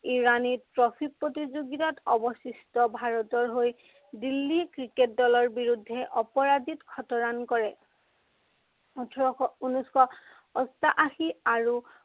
Irani trophy প্ৰতিযোগিতাত অৱশিষ্ট ভাৰতৰ হৈ দিল্লী ক্ৰিকেট দলৰ বিৰুদ্ধে অপৰাজিত শত run কৰে। ওঠৰশ, উনৈছশ অষ্টাশী আৰু